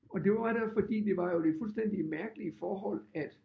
Og det var der jo fordi det var jo det fuldstændig mærkelige forhold at